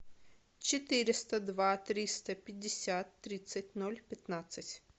четыреста два триста пятьдесят тридцать ноль пятнадцать